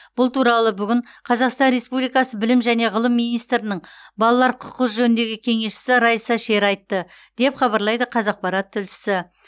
бұл туралы бүгін қазақстан республикасы білім және ғылым министрінің балалар құқығы жөніндегі кеңесшісі райса шер айтты деп хабарлайды қазақпарат тілшісі